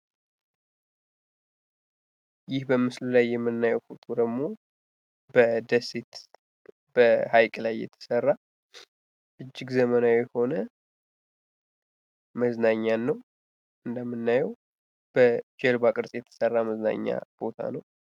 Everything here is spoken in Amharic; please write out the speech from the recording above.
ይህ በምስሉ ላይ የምናየው ፎቶ ደግሞ በደሴት በሃይቅ የተሰራ እጅግ ዘመናዊ የሆነ መዝናኛን ነው እንደምናየው በጀልባ ቅርፅ የተስራ መዝናኛ ቦታ ነው።